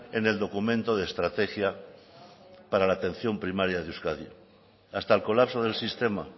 en el documento de estrategia para la atención primaria de euskadi hasta el colapso del sistema